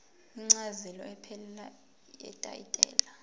incazelo ephelele yetayitela